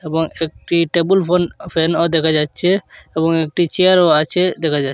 এবং একটি table phone ফ্যানও দেখা যাচ্ছে এবং একটি চেয়ারও আছে দেখা যা--